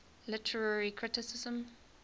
literary criticism